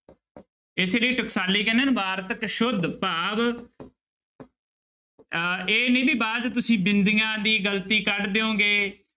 ਇਸੇ ਲਈ ਟਕਸਾਲੀ ਕਹਿੰਦੇ ਨਾ ਵਾਰਤਕ ਸੁੱਧ ਭਾਵ ਅਹ ਇਹ ਨੀ ਵੀ ਬਾਅਦ 'ਚ ਤੁਸੀਂ ਬਿੰਦੀਆਂ ਦੀ ਗ਼ਲਤੀ ਕੱਢ ਦਿਓਗੇ।